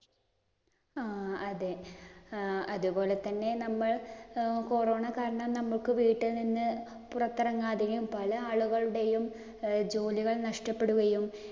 ആ അതേ. അതുപോലെ തന്നെ നമ്മൾ corona കാരണം നമുക്ക് വീട്ടിൽ നിന്ന് പുറത്തിറങ്ങാതെയും, പല ആളുകളുടെയും ജോലികൾ നഷ്ടപ്പെടുകയും,